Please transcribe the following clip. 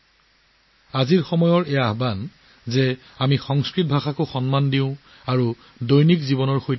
আজিৰ দাবীটো হ'ল আমি সংস্কৃতকো সন্মান কৰা উচিত আৰু লগতে আমাৰ দৈনন্দিন জীৱনত যোগ কৰা উচিত